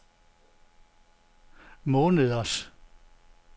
måneders